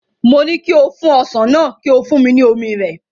Mo ní kí o fún ọsàn náà, kí o fún mi ní omi rẹ̀.